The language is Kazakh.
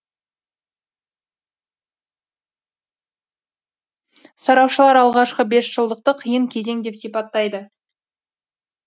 сарапшылар алғашқы бесжылдықты қиын кезең деп сипаттайды